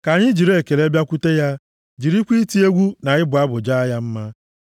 Ka anyị jiri ekele bịakwute ya jirikwa iti egwu na ịbụ abụ jaa ya mma.